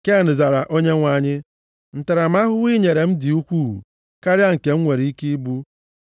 Ken zara Onyenwe anyị, “Ntaramahụhụ i nyere m dị ukwuu karịa nke m nwere ike ibu.